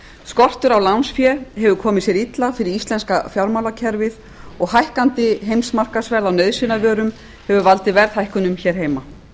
skortur á lánsfé hefur komið sér illa fyrir íslenska fjármálakerfið og hækkandi heimsmarkaðsverð á nauðsynjavörum hefur valdið verðhækkunum hér heima